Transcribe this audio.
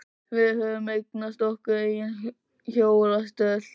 Við höfðum eignast okkar eigin hjólastól.